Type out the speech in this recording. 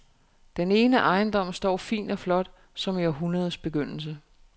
Den ene ejendom står fin og flot, som i århundredets begyndelse.